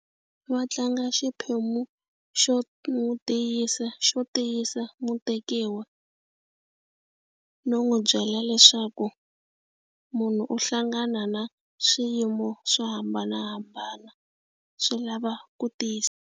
Va tlanga xiphemu xo n'wi tiyisa xo tiyisa mutekiwa no n'wi byela leswaku munhu u hlangana na swiyimo swo hambanahambana swi lava ku .